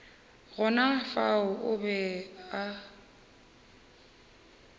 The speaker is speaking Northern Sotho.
gona fao o be a